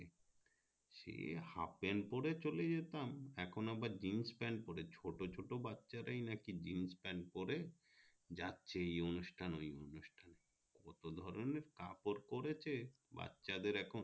সে half pant পরে চলে যেতাম এখন আবার জিন্স প্যান্ট পরে ছোট ছোট বাচ্ছারা ই নাকি জিন্স প্যান্ট পরে যাচ্ছে এই অনুষ্ঠানে ওই অনুষ্ঠানে কত ধরোনের কাপড় চলছে বাচ্ছাদের এখন